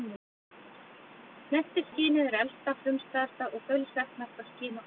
Snertiskynið er elsta, frumstæðasta og þaulsetnasta skyn okkar.